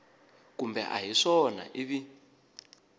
kumbe a hi swona ivi